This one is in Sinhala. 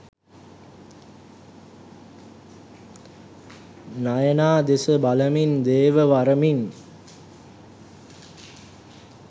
නයනා දෙස බලමින් දේව වරමින්